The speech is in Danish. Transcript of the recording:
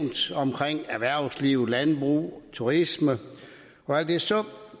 omkring erhvervsliv landbrug turisme og alt det så